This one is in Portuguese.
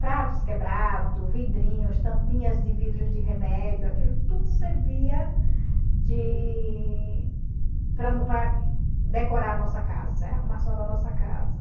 pratos quebrado, vidrinhos, tampinhas de vidros de remédio, aquilo tudo servia de... para para decorar a nossa casa, era a arrumação da nossa casa.